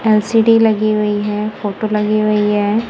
LCD लगी हुई है फोटो लगी हुई है।